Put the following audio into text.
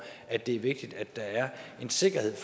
at det er vigtigt at der er en sikkerhed